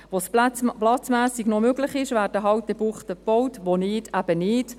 Wo es platzmässig noch möglich ist, werden Buchten gebaut, wo nicht, eben nicht.